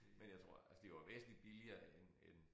Men jeg tror altså de var væsentlig billigere end end